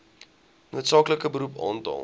noodsaaklike beroep aantal